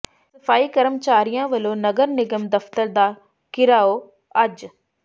ਸਫ਼ਾਈ ਕਰਮਚਾਰੀਆਂ ਵਲੋਂ ਨਗਰ ਨਿਗਮ ਦਫ਼ਤਰ ਦਾ ਘਿਰਾਓ ਅੱਜ